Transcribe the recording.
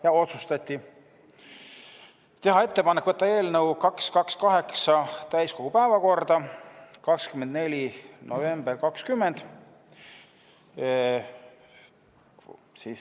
Ka otsustati teha ettepanek võtta eelnõu 228 täiskogu päevakorda 24. novembriks 2020.